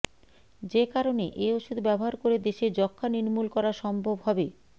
যে কারণে এ ওষুধ ব্যবহার করে দেশে যক্ষ্মা নির্মূল করা সম্ভব হবে